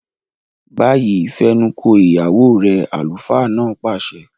Báyìí, fẹnuko ìyàwó rẹ! àlùfáà náà pàṣẹ.